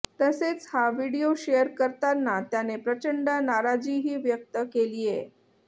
तसेच हा video share करताना त्याने प्रचंड नाराजीही व्यक्त केलीये